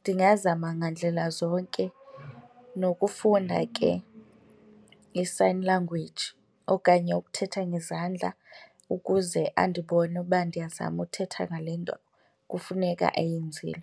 ndingazama ngandlela zonke nokufunda ke i-sign language okanye ukuthetha ngezandla ukuze andibone uba ndiyazama uthetha ngale nto kufuneka ayenzile.